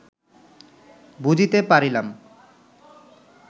বুঝিতে পারিলাম